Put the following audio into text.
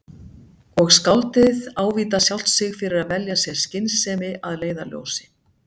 Og skáldið ávítar sjálft sig fyrir að velja sér skynsemi að leiðarljósi.